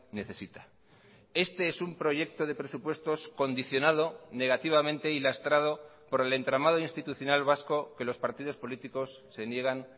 necesita este es un proyecto de presupuestos condicionado negativamente y lastrado por el entramado institucional vasco que los partidos políticos se niegan